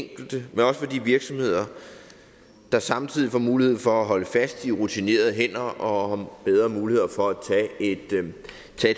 enkelte men også for de virksomheder der samtidig får mulighed for at holde fast i rutinerede hænder og bedre muligheder for at tage et